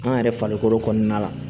An yɛrɛ farikolo kɔnɔna la